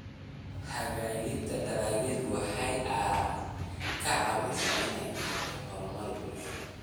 Hagaajinta dalagyadu waxa ay ka caawisaa in ay keento horumar bulsho.